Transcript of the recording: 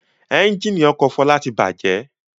Ẹ́ńjínì ọkọ̀ Fọlá ti bàjẹ́.